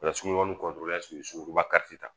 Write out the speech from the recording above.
O la suruɲɔgɔnba ka te ta